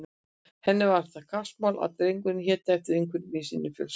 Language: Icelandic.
Henni var það kappsmál að drengurinn héti eftir einhverjum í sinni fjölskyldu.